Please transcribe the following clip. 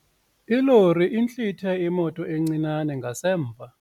Ilori intlithe imoto encinane ngasemva.